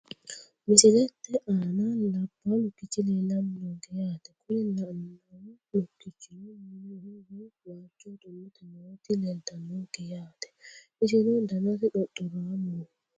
Misilete aana labawo lukichi leelani noonke yaate kuni lanawo lukichino mineho woyi waalchoho xulote nooti leeltanonke yaate isino danasi xoxoraamoho.